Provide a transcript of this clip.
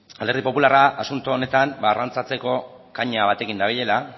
alderdi popularra asunto honetan arrantzatzeko kaina batekin dabilela